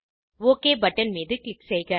okay button மீது click செய்க